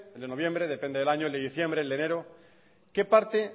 de noviembre depende del año el de diciembre el de enero qué parte